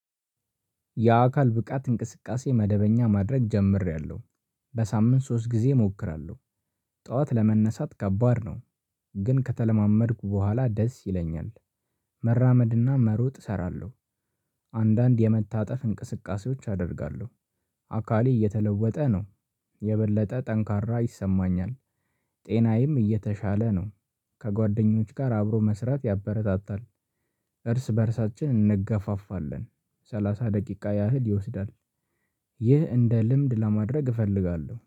የአካል ብቃት እንቅስቃሴ መደበኛ ማድረግ ጀምሬያለሁ በሳምንት ሶስት ጊዜ እሞክራለሁ። ጠዋት ለመነሳት ከባድ ነው። ግን ከተለማመድኩ በኋላ ደስ ይለኛል። መራመድና መሮጥ እሰራለሁ። አንዳንድ የመታጠፍ እንቅስቃሴዎች አደርጋለሁ። አካሊ እየተለወጠ ነው። የበለጠ ጠንካራ ይሰማኛል። ጤናዬም እየተሻለ ነው። ከጓደኞች ጋር አብሮ መስራት ያበረታታል። እርስ በእርሳችን እንገፋፋለን። ሰላሳ ደቂቃ ያህል ይወስዳል። ይህ እንደ ልምድ ለማድረግ እፈልጋለሁ